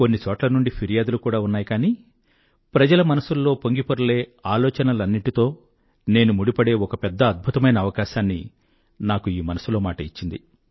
కొన్ని చోట్ల నుండి ఫిర్యాదులు కూడా ఉన్నాయి కానీ ప్రజల మనసుల్లో పొంగిపొరలే ఆలోచనలన్నింటితో నేను ముడిపడే ఒక పెద్ద అద్భుతమైన అవకాశాన్ని నాకు ఈ మనసులో మాట ఇచ్చింది